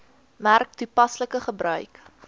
merk toepaslike gebruik